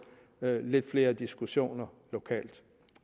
lidt flere diskussioner lokalt